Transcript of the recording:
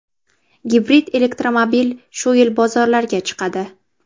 Gibrid elektromobil shu yil bozorlarga chiqadi.